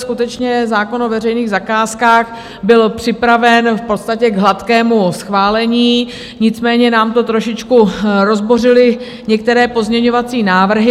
Skutečně, zákon o veřejných zakázkách byl připraven v podstatě k hladkému schválení, nicméně nám to trošičku rozbořily některé pozměňovací návrhy.